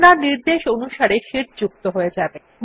আপনার নির্দেশ অনুসারে শিট যুক্ত হয়ে যাবে